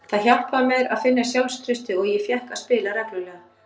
Það hjálpaði mér að finna sjálfstraustið og ég fékk að spila reglulega.